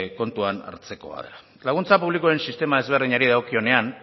kontuan hartzekoa dela laguntza publikoen sistema desberdinari dagokionean